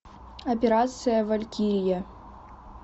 операция валькирия